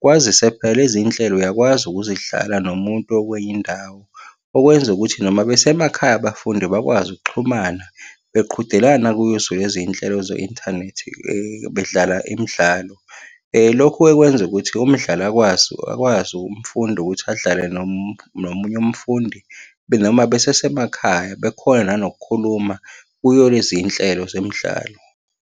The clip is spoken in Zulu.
Kwazise phela lezi iy'nhlelo uyakwazi ukuzidlala nomuntu okwenye indawo. Okwenza ukuthi noma besemakhaya abafundi bakwazi ukuxhumana, beqhudelana kuzo lezi nhlelo ze-inthanethi bedlala imidlalo. Lokhu-ke kwenza ukuthi umdlali akwazi, akwazi ukumfunda ukuthi adlale nomunye umfundi, noma besesemakhaya bekhone nanokukhuluma kuyo lezi nhlelo zemidlalo.